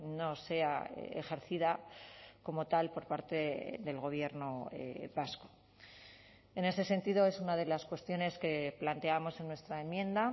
no sea ejercida como tal por parte del gobierno vasco en ese sentido es una de las cuestiones que planteamos en nuestra enmienda